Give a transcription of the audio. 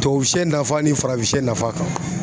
Tubabu sɛ nafa ni farafin sɛ nafa kan